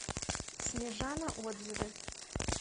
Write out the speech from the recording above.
снежана отзывы